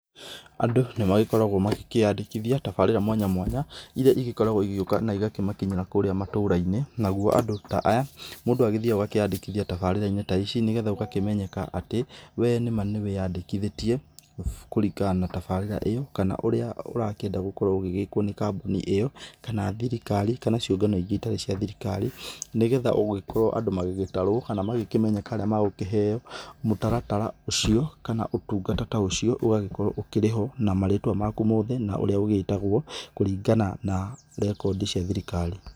Andũ nĩ magĩkoragwo magĩkĩandĩkithia tabarĩra mwanya mwanya ĩrĩa ĩgĩkoragwo igĩgĩoka na igakĩmakinyĩra kũrĩa matũra-inĩ nagũo andũ ta aya mũndũ agĩthiaga akeandĩkithia tabarĩra-inĩ ta ici nĩgetha ũgakĩmenyeka atĩ we nĩma nĩ wĩandĩkithĩthie kũringana na tabarĩra ĩyo kana ũrĩa ũrakĩenda gũkorwo ũgĩgĩkwo ũgĩgĩkwo nĩ kambuni ĩyo kana thirikari kana ciũngano ingĩ itarĩ cia thirikari nĩgetha ũgĩgĩkorwo andũ magĩgĩtarwo kana magĩkĩmetheka arĩa magũkĩheo mũtaratara ũcio kana ũtũngata ta ũcio ũgakorwo ũkĩrĩho na marĩtwa maku mothe ũrĩa ũgĩtagwo kũringana na rekodi cia thirikari.